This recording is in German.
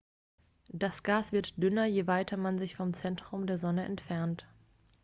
das gas wird dünner je weiter man sich vom zentrum der sonne entfernt